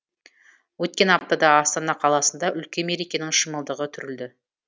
өткен аптада астана қаласында үлкен мерекенің шымылдығы түрілді